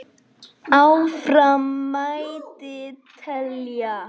Áfram mætti telja.